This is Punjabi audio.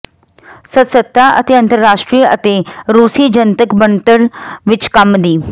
ਸਦੱਸਤਾ ਅਤੇ ਅੰਤਰਰਾਸ਼ਟਰੀ ਅਤੇ ਰੂਸੀ ਜਨਤਕ ਬਣਤਰ ਵਿੱਚ ਕੰਮ ਦੀ